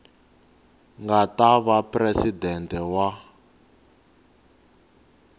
nga ta va presidente wa